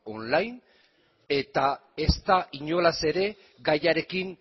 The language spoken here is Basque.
online eta ez da inolaz ere gaiarekin